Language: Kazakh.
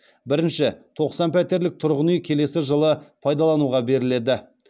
бірінші тоқсан пәтерлік тұрғын үй келесі жылы пайдалануға беріледі